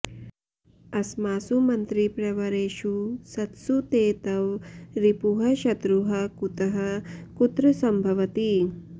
अस्मासु मन्त्रिप्रवरेषु सत्सु ते तव रिपुः शत्रुः कुतः कुत्र सम्भवति